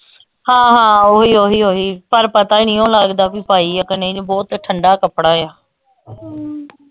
ਹਾਂ ਹਾਂ ਓਹੀ ਓਹੀ ਓਹੀ ਪਰ ਪਤਾ ਹੀ ਨਹੀਂ ਓ ਲਗਦਾ ਬੀ ਪਾਈ ਆ ਕ ਨਹੀਂ ਬਹੁਤ ਠੰਡਾ ਕਪੜਾ